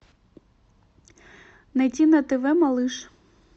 найти на тв малыш